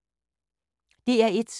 DR1